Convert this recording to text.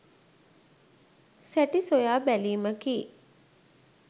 සැටි සොයා බැලීමකි.